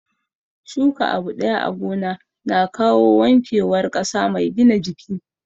Shuka abu ɗaya a gona na kawo wanke war ƙasa mai gina jiki